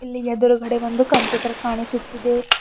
ಇಲ್ಲಿ ಎದುರುಗಡೆ ಒಂದು ಕಂಪ್ಯೂಟರ್ ಕಾಣಿಸುತ್ತಿದೆ.